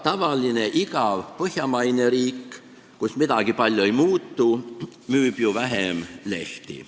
Tavaline igav põhjamaine riik, kus midagi palju ei muutu, müüb ju vähem lehti.